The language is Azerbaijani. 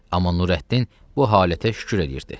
Amma Nurəddin bu halətə şükür edirdi.